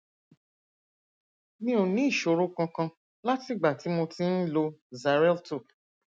mi ò ní ìṣòro kankan látìgbà tí mo ti ń lo xarelto